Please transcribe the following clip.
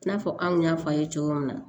I n'a fɔ anw y'a fɔ a' ye cogo min na